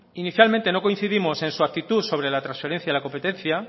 inicialmente no coincidimos en su actitud sobre la transferencia de la competencia